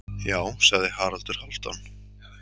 Já, sagði Haraldur Hálfdán.